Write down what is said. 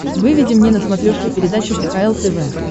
выведи мне на смотрешке передачу кхл тв